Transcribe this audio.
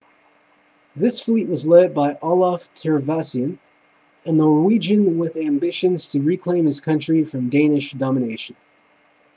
this fleet was led by olaf trygvasson a norwegian with ambitions to reclaim his country from danish domination